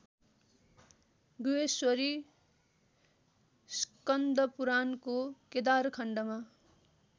गुह्यश्वरी स्कन्दपुराणको केदारखण्डमा